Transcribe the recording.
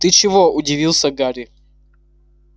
ты чего удивился гарри